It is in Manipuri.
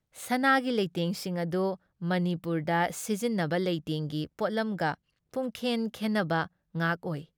ꯁꯅꯥꯒꯤ ꯂꯩꯇꯦꯡꯁꯤꯡ ꯑꯗꯨ ꯃꯅꯤꯄꯨꯔꯗ ꯁꯤꯖꯤꯟꯅꯕ ꯂꯩꯇꯦꯡꯒꯤ ꯄꯣꯠꯂꯝꯒ ꯄꯨꯝꯈꯦꯟ ꯈꯦꯟꯅꯕ ꯉꯥꯛ ꯑꯣꯏ ꯫